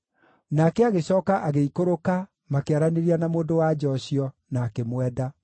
Nake agĩcooka agĩikũrũka makĩaranĩria na mũndũ-wa-nja ũcio, na akĩmwenda.